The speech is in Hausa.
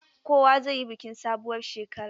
Kowa zai yi bikin sabuwar shekara.